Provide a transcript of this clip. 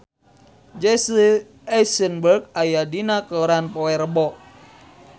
Jesse Eisenberg aya dina koran poe Rebo